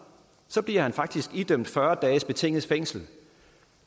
bliver han faktisk idømt fyrre dages betinget fængsel det